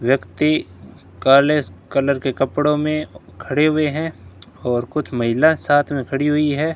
व्यक्ति काले कलर के कपड़ो मे खड़े हुए हैं और कुछ महिला साथ मे खड़ी हुई है।